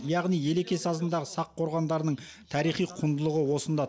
яғни елеке сазындағы сақ қорғандарының тарихи құндылығы осында